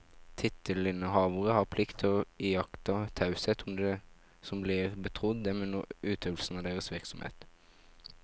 Tittelinnehavere har plikt til å iaktta taushet om det som blir betrodd dem under utøvelse av deres virksomhet.